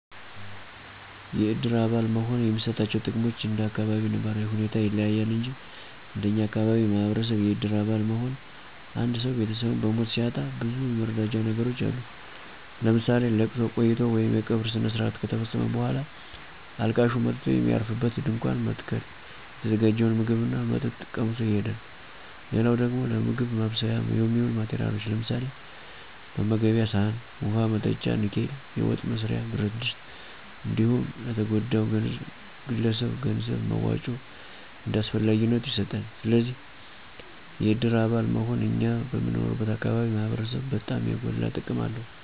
የእድር አባል መሆን የሚሰጣቸው ጥቅሞች እንደ አካባቢው ነባራዊ ሁኔታ ይለያል እንጅ እንደኛ አካባቢ ማህበረሰብ የእድር አባል መሆን አንድሰው ቤተሰቡን በሞት ሲያጣ ብዙ የመረዳጃ ነገሮች አሉት ለምሳሌ፦ ለቅሶ ቆይቶ ወይም የቀብር ስነስረአት ከተፈፀመ በኋላ አልቃሹ መጥቶ የሚያርፍበት ድንኳን በመትከል የተዘጋጀውን ምግብ ና መጠጥ ቀምሶ ይሄዳል። ሌላው ደግሞ ለምግብ ማብሰያ የሚውሉ ማቴረያሎች ለምሳሌ፦ መመገቤያ ሰአን፣ ውሀ መጠጫ ንኬል፣ የወጥ መስሪያ ብረትድስት እንዲሁም ለተጎዳው ግለሰብ የገንዘብ መዋጮ እንደ አስፈላጊነቱ ይሰጣል። ስለዚ የድር አባል መሆን እኛ በምንኖርበት አካባቢ ማህበረሰብ በጣም የጎላ ጥቅም አለው።